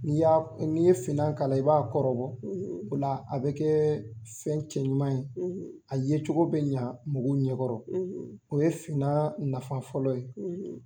N'i ye finnan k'a la i b'a kɔrɔbɔ o la a bɛ kɛ fɛn cɛɲuman ye a yecogo bɛ ɲa mɔgɔw ɲɛkɔrɔ o ye finnan nafa fɔlɔ ye.